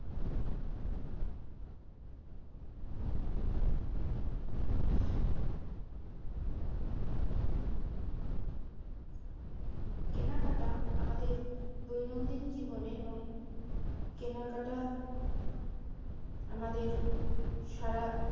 কেনাকাটা আমাদের দৈনন্দিন জীবনে এবং কেনাকাটা আমাদের সারা